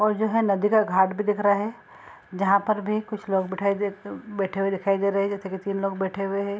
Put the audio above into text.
और जो है नदी का घाट भी दिख रहा है जहाँ पर भी कुछ लोग बिठाई देते उम बैठे हुए दिखाई दे रहे हैं जैसे की तीन लोग बैठे हुए हैं।